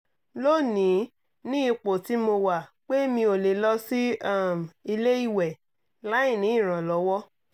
lónìí ni ipò tí mo wà pé mi ò lè lọ sí um ilé ìwẹ̀ láìní ìrànlọ́wọ́